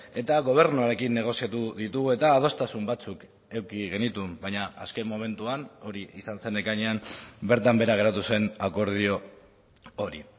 eta gobernuarekin negoziatu ditugu eta adostasun batzuk eduki genituen baina azken momentuan hori izan zen ekainean bertan behera geratu zen akordio hori